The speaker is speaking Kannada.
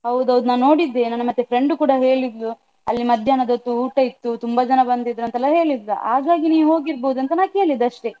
ಹೌದು ಹೌದು. ನಾನ್ ನೋಡಿದ್ದೆ, ನನ್ನ ಮತ್ತೆ friend ಕೂಡ ಹೇಳಿದ್ಲು. ಅಲ್ಲಿ ಮಧ್ಯಾಹ್ನದ ಹೊತ್ತು ಊಟ ಇತ್ತು, ತುಂಬ ಜನ ಬಂದಿದ್ರಂತಲ್ಲ ಹೇಳಿದ್ಲು. ಹಾಗಾಗಿ ನೀವು ಹೋಗಿರ್ಬೋದಂತ ನಾ ಕೇಳಿದ್ದು ಅಷ್ಟೆ.